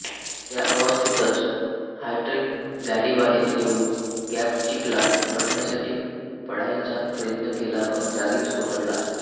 त्याअवस्थेतच Hydrick गाडीबाहेर येऊन गॅबचिकला पकडण्यासाठी पळायचा प्रयत्न केला पण जागीच कोसळला